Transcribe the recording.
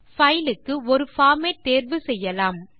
file க்கு ஒரு format தேர்வு செய்யலாம்